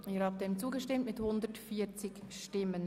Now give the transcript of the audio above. Sie haben diesen Ordnungsantrag angenommen.